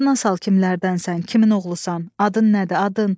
Yadına sal kimlərdənsən, kimin oğlusan, adın nədir, adın?